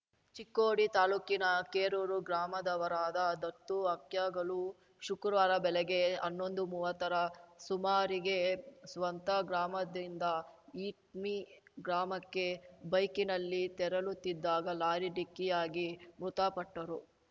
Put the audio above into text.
ಚಿಕ್ಕೋಡಿ ತಾಲೂಕಿನ ಕೇರೂರು ಗ್ರಾಮದವರಾದ ದತ್ತು ಹಕ್ಯಾಗೋಳು ಶುಕ್ರವಾರ ಬೆಳಗ್ಗೆ ಹನ್ನೊಂದುಮೂವತ್ತರ ಸುಮಾರಿಗೆ ಸ್ವಂತಗ್ರಾಮದಿಂದ ಹಿಟ್ನಿ ಗ್ರಾಮಕ್ಕೆ ಬೈಕಿನಲ್ಲಿ ತೆರಳುತ್ತಿದ್ದಾಗ ಲಾರಿ ಡಿಕ್ಕಿಯಾಗಿ ಮೃತಪಟ್ಟರು